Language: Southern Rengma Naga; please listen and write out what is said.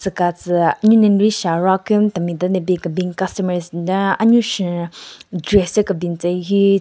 Tsü ka tsü anyu ne n-ri she aro aku-nyu temi den ne bin kebin ka customers nden thyu kebin tsü hyu.